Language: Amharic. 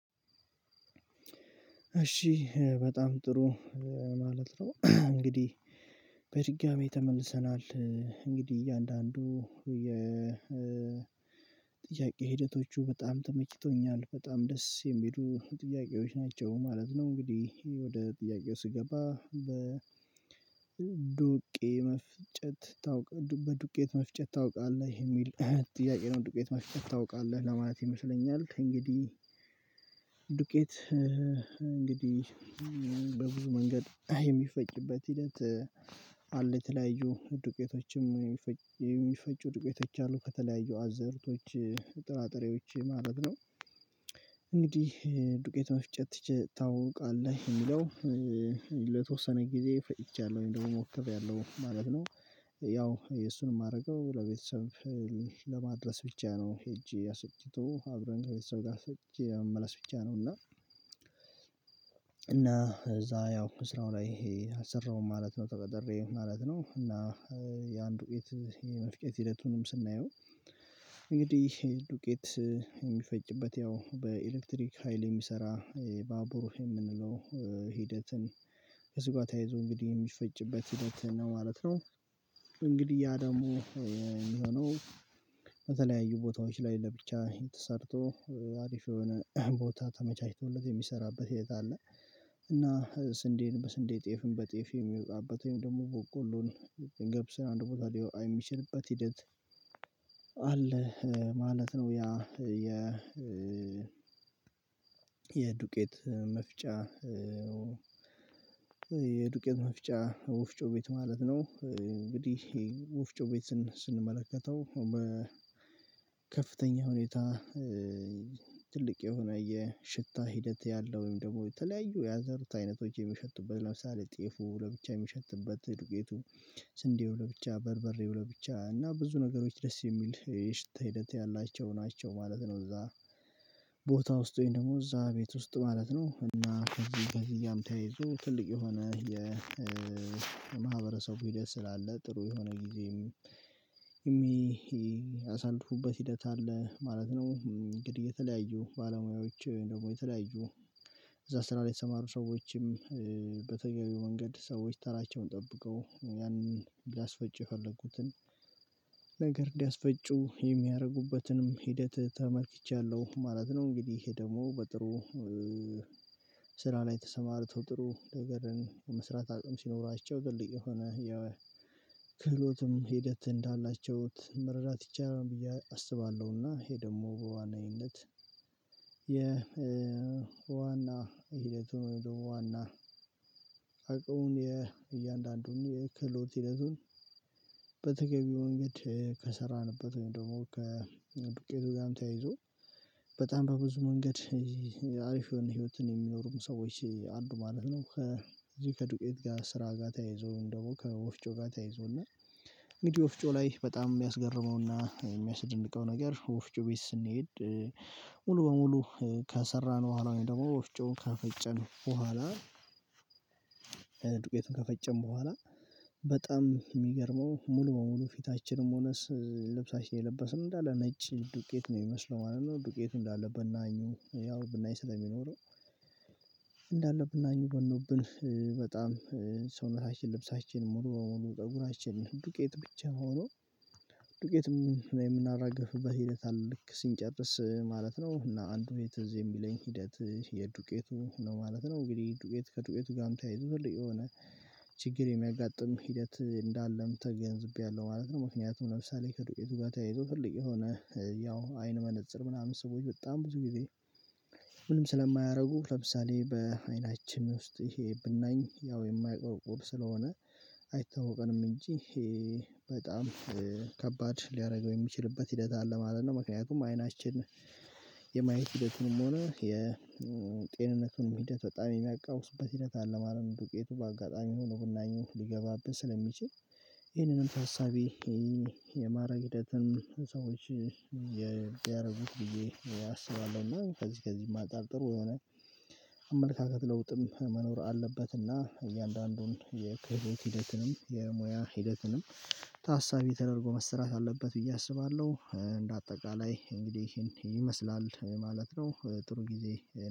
እሺ በጣም ጥሩ ማለት ነው። እንግዲህ በድጋሜ ተመልሰናል እንግዲህ እያንዳንዱ የ ጥያቄ ሂደቶቹ በጣም ተመችቶኛል በጣም ደስ የሚሉ ጥያቄዎች ናቸው ማለት ነው። እንግዲህ ወደ ጥያቄው ስገባ በዱቄት መፍጨት ታውቃለህ የሚል ጥያቄ ነው ዱቄት መፍጨት ታውቃለህ ለማለት ይመስለኛል? እንግዲህ ዱቄት እንግዲህ በብዙ መንገድ የሚፈጭበት ሂደት አለ የተለያዩ ዱቄቶችም የሚፈጩ ዱቄቶች አሉ ከተለያዩ አዝእርቶች ጥራጥሬዎች ማለት ነው። እንግዲህ ዱቄት መፍጨት ታውቃለህ እሚለው ለተወሰነ ጊዜ ፈጭቻለሁ ወይም ደግሞ ሞክሬያለሁ ማለት ነው። ያው እሱን እማደርገው ለቤተሰብ ለማድረስ ብቻ ነው ሄጄ አስፈጭቶ አብረን ከቤተሰብ ጋር አስፈጭቸ ለመመለስ ብቻ ነው። እና እና እዛ ያው ስራው ላይ አልሰራውም ማለት ነው ተቀጥሬ ማለት ነው። እና ያን ዱቄት የመፍጨት ሂደቱንም ስናየው እንግዲህ ዱቄት እሚፈጭበት ያው በኤሌክትሪክ ሀይል የሚሰራ ባቡር የምንለው ሂደትን ከሱ ጋር ተያይዞ እንግዲህ የሚፈጭበት ሂደት ነው ማለት ነው። እንግዲህ ያ ደግሞ የሚሆነው በተለያዩ ቦታዎች ላይ ለብቻ ተሰርቶ አሪፍ የሆነ ቦታ ተመቻችቶለት የሚሰራበት ቤት አለ እና ስንዴን በስንዴ ጤፍን በጤፍ የሚወጣበት ወይም ደግሞ በቆሎን ገብስን አንድ ቦታ ሊያወጣ የሚችልበት ሂደት አለ ማለት ነው። ያ የ የዱቄት መፍጫ የዱቄት መፍጫ ወፍጮ ቤት ማለት ነው። እንግዲህ ውፍጮ ቤት ስንመለከተው ከፍተኛ ሁኔታ ትልቅ የሆነ የሽታ ሂደት ያለው ወይም ደግሞ የተለያዩ የአዝዕርት አይነቶች የሚሸቱበት ለምሳሌ ጤፉ ለብቻ የሚሸትበት ዱቄቱ ስንዴው ለብቻ በርበሬው ለብቻ እና ብዙ ነገሮች ደስ የሚል የሽታ ሂደት ያላቸው ናቸው ማለት ነው። እዛ ቦታ ውስጥ ወይም ደግሞ እዛ ቤት ውስጥ ማለት ነው እና ከዚህ ከዚህ ጋርም ተያይዞ ትልቅ የሆነ የማህበረሰቡ ሂደት ስላለ ጥሩ የሆነ ጊዜም እሚያሳልፉበት ሂደት አለ ማለት ነው። እንግዲህ የተለያዩ ባለሙያዎች ወይም ደግሞ የተለያዩ እዝያ ስራ ላይ የተሰማሩ ሰዎችም በተገቢው መንገድ ሰዎች ተራቸውን ጠብቀው ያንን ሊያስፈጩ የፈለጉትን ነገር ሊያስፈጩ የሚያደርጉበትንም ሂደት ተመልክቻለሁ ማለት ነው። እንግዲህ ይሄ ደግሞ በጥሩ ስራ ላይ ተሰማርተው ጥሩ ነገርን የመስራት አቅም ሲኖራቸው ትልቅ የሆነ ያው ክህሎትም ሂደት እንዳላቸው መረዳት ይቻላል ብዬ አስባለሁና ይሄ ደግሞ በዋነኝነት የ ዋና ሂደቱን ወይም ደግሞ ዋና አቅሙን የእያንዳንዱን የክህሎት ሂደቱን በተገቢው መንገድ ከሰራንበት ወይም ደግሞ ከዱቄቱ ጋርም ተያይዞ በጣም በብዙ መንገድ አሪፍ የሆነ ህይወትን የሚኖሩም ሰዎች አሉ ማለት ነው። ከዚህ ከዱቄት ጋር ስራ ጋር ተያይዞ ወይም ደግሞ ከወፍጮ ጋር ተያይዞ እና እንግዲህ ወፍጮ ላይ በጣም እሚያስገርመውና እሚያስደንቀው ነገር ወፍጮ ቤት ስንሄድ ሙሉ በሙሉ ከሰራን በኋላ ወይም ደግሞ ወፍጮውን ከፈጨን በኋላ ዱቄቱን ከፈጨን በኋላ በጣም እሚገርመው ሙሉ በሙሉ ፊታችንም ሆነ ልብሳችን የለበስነው እንዳለ ነጭ ዱቄት ነው የሚመስለው ማለት ነው። ዱቄቱ እንዳለ ብናኙ ያው ብናኙ ስለሚኖረው እንዳለ ብናኙ በኖብን በጣም ሰውነታችን ልብሳችን ሙሉ በሙሉ ፀጉራችን ዱቄት ብቻ ሁኖ ዱቄት የምናራግፈበት ሂደት አለ ልክ ስንጨርስ ማለት ነው እና አንዱ እኔ ትዝ የሚለኝ ሂደት የዱቄቱ ነው ማለት ነው። እንግዲህ ዱቄት ከዱቄቱ ጋርም ተያይዞ ትልቅ የሆነ ችግር የሚያጋጥም ሂደት እንዳለም ተገንዝቤያለሁ ማለት ነው። ምክንያቱም ለምሳሌ ከዱቄቱ ጋር ተያይዞ ትልቅ የሆነ ያው አይን መነፀር ምናምን ሰዎች በጣም ብዙ ጊዜ ምንም ስለማያደርጉ ለምሳሌ በአይናችን ውስጥ ይሄ ብናኝ ያው የማይቆረቁር ስለሆነ አይታወቀንም እንጂ በጣም ከባድ ሊያደርገው የሚችልበት ሂደት አለ ማለት ነው። ምክንያቱም አይናችን የማየት ሂደቱንም ሆነ የጤንነቱንም ሂደት በጣም የሚያቃውሱበት ሂደት አለ ማለት ነወ። ዱቄቱ በአጋጣሚ ሆኖ ብናኙ ሊገባብን ስለሚችል ይሄንንም ተሳቢ የማድረግ ሂደትን ሰዎች የሚያደርጉት ብዬ አስባለሁ እና ከዚህ ከዚህ ጥሩ የሆነ አመለካከት ለውጥም መኖር አለበት እና እያንዳንዱን የክህሎት ሂደትንም የሙያ ሂደትንም ታሳቢ ተደርጎ መሰራት አለበት ብዬ አስባለሁ። እንደአጠቃላይ እንግዲህ ይሄን ይመስላል ማለት ነው። ጥሩ ጊዜ